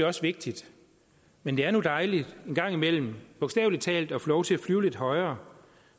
også vigtigt men det er nu dejligt en gang imellem bogstavelig talt at få lov til at flyve lidt højere